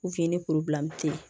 ni te yen